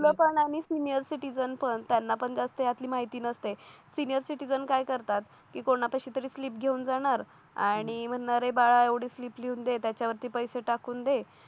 लोकांना आणि senior citizen पण त्यांना पण जास्त यातली माहिती नसते सिनियर सिटीझन काय करतात की कोणापाशी तरी स्लिप घेऊन जाणार आणि म्हणणारे बाळा एवढे स्लीप लिहून दे त्याच्यावरती पैसे टाकून दे